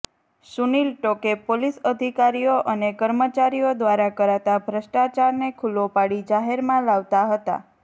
Sunil Toke police અધિકારીઓ અને કર્મચારીઓ દ્વારા કરાતા ભ્રષ્ટાચારને ખુલ્લો પાડી જાહેરમાં લાવતા હતા